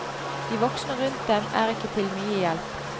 De voksne rundt dem er ikke til mye hjelp.